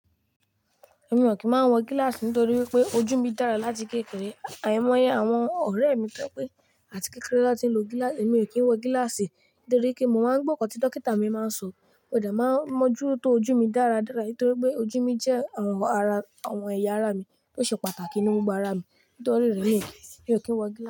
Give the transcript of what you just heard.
Èmi ò kí ń má wọ gílàsì nítorí wípé ojú mi dára láti kékeré. Àìmọ́yẹ àwọn ọ̀rẹ́ mi tó jẹ́ pé àti kékeré l'ọn ti nlo gílàsì. Èmi ò kí ń wo gílàsì nítorí kí mo má ń gbọ́ nkán tí dókítà mi máa ń sọ. Mo dẹ̀ ma ń mójútó ojú mi dáradára nítorí pé ojú mi jẹ́ àwọn ẹyà ara mi tó ṣe pàtàkì nínú gbogbo ara mi. Nítorí rẹ̀ nií, èmi ò kí ń wọ gílàsì.